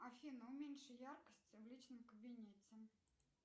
афина уменьши яркость в личном кабинете